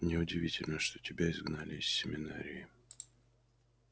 неудивительно что тебя изгнали из семинарии